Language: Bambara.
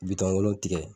Bitɔn wolonwula